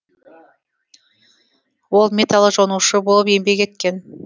ол металл жонушы болып еңбек еткен